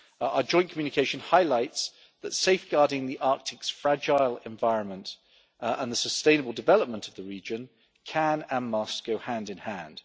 Our joint communication highlights that safeguarding the Arctic's fragile environment and the sustainable development of the region can and must go hand in hand.